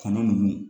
Kanu nunnu